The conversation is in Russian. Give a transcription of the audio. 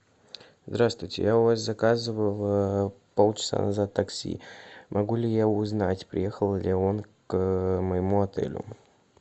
здраствуйте я у вас заказывал пол часа назад такси могу ли я узнать приехал ли он к моему отелю